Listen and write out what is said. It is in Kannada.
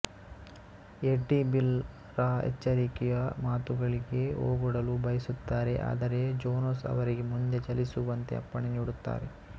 ಎಡ್ಡಿ ಬಿಲ್ ರ ಎಚ್ಚರಿಕೆಯ ಮಾತುಗಳಿಗೆ ಓಗೊಡಲು ಬಯಸುತ್ತಾರೆ ಆದರೆ ಜೊನಾಸ್ ಅವರಿಗೆ ಮುಂದೆ ಚಲಿಸುವಂತೆ ಅಪ್ಪಣೆ ನೀಡುತ್ತಾರೆ